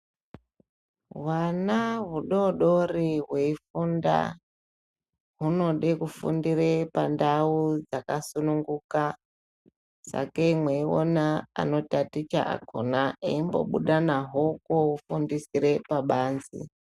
Hwana hudodori hweifunda hunode kufundire pandau yakasununguka sakei mweiona anotaticha akona eimbobude kotatichire pabanzi.